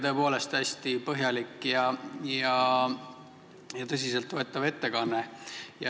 Tõepoolest hästi põhjalik ja tõsiselt võetav ettekanne.